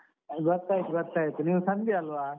ಗೊತ್ತಾಯ್ತು ಗೊತ್ತಾಯ್ತು, ನೀವು ಸಂಧ್ಯಾ ಅಲ್ವ?